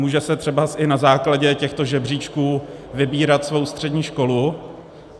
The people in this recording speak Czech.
Může si třeba i na základě těchto žebříčků vybírat svou střední školu.